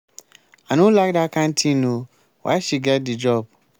i no like dat kin thing oo why she get the job?